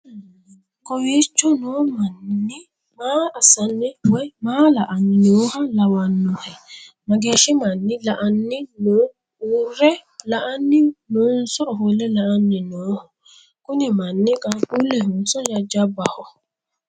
kowiicho no manni maa assanni woy maa la'anni nooha lawannohe? mageeshshi manni la'anni no"uurre la'anni noonso ofolle la'anni nooho? kuni manni qaaqqullehonso jajjabbaho?